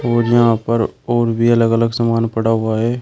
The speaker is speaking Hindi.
और यहां पर और भी अलग अलग सामान पड़ा हुआ हैं।